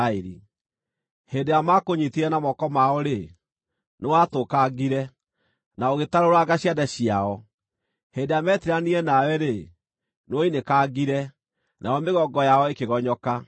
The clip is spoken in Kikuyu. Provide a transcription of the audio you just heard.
Hĩndĩ ĩrĩa maakũnyiitire na moko mao-rĩ, nĩwatũkangire, na ũgĩtarũranga ciande ciao; hĩndĩ ĩrĩa meetiiranirie nawe-rĩ, nĩwoinĩkangire, nayo mĩgongo yao ĩkĩgonyoka.